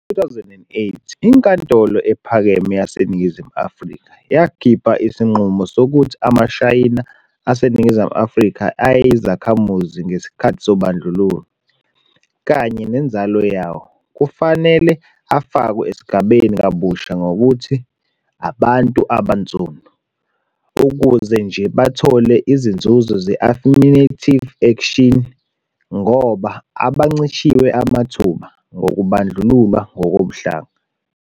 Ngo-2008, iNkantolo Ephakeme yaseNingizimu Afrika yakhipha isinqumo sokuthi amaShayina aseNingizimu Afrika ayeyizakhamuzi ngesikhathi sobandlululo, kanye nenzalo yawo, kufanele afakwe esigabeni kabusha ngokuthi "abantu abaNsundu," ukuze nje bathole izinzuzo ze-affirmative action, ngoba "abancishwe amathuba" ngokubandlululwa ngokobuhlanga.